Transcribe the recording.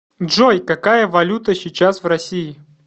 джой какая валюта сейчас в россии